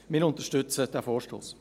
Wir unterstützen den Vorstoss.